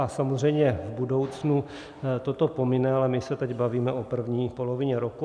A samozřejmě v budoucnu toto pomine, ale my se teď bavíme o první polovině roku.